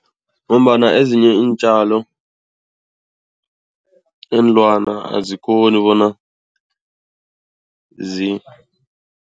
Ngombana ezinye iintjalo iinlwana azikghoni bona